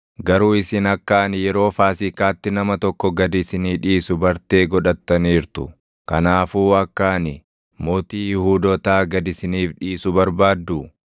Garuu isin akka ani yeroo Faasiikaatti nama tokko gad isinii dhiisu bartee godhattaniirtu. Kanaafuu akka ani, ‘Mootii Yihuudootaa’ gad isiniif dhiisu barbaadduu?”